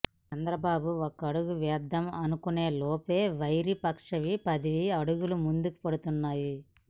చంద్ర బాబు ఒకడుగు వేద్దాం అనుకునే లోపే వైరి పక్షానివి పది అడుగులు ముందుకు పడుతున్నాయి